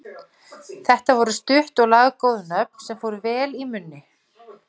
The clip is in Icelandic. Þetta voru stutt og laggóð nöfn sem fóru vel í munni.